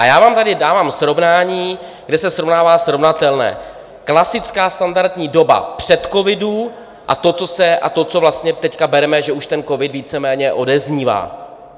A já vám tady dávám srovnání, kde se srovnává srovnatelné - klasická standardní doba před covidem a to, co vlastně teď bereme, že už ten covid víceméně odeznívá.